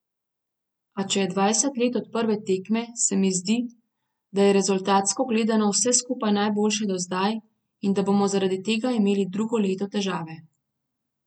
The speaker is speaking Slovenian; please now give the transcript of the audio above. A če je dvajset let od prve tekme, se mi zdi, da je rezultatsko gledano vse skupaj najboljše do zdaj in da bomo zaradi tega imeli drugo leto težave.